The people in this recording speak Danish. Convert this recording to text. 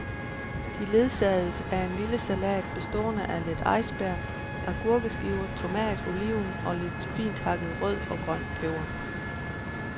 De ledsagedes af en lille salat, bestående af lidt iceberg, agurkeskiver, tomat, oliven og lidt finthakket rød og grøn peber.